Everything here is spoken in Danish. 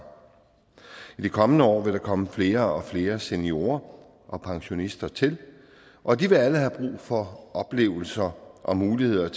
i de kommende år vil der komme flere og flere seniorer og pensionister til og de vil alle have brug for oplevelser og muligheder